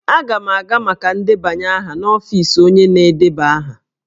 Aga m aga maka ndebanye aha n'ọfiisi onye na-edeba aha.